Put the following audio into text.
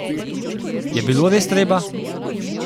Je bilo res treba?